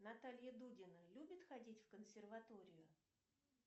наталья дудина любит ходить в консерваторию